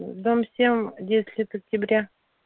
дом семь десять лет октября